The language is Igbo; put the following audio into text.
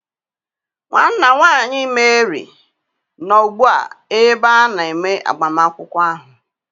Nwanna nwanyị Mary nọ ugbu a n'ebe a na-eme agbamakwụkwọ ahụ.